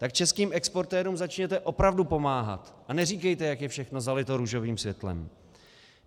Tak českým exportérům začněte opravdu pomáhat a neříkejte, jak je všechno zalito růžovým světlem.